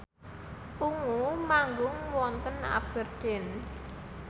Ungu manggung wonten Aberdeen